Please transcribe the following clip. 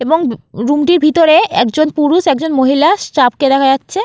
এবং রুম টির ভিতরে একজন পুরুষএকজন মহিলা স্টাফ কে দেখা যাচ্ছে।